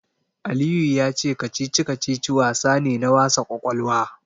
Aliyu ya ce kacici-kacici wasa ne na wasa ƙwaƙwalwa.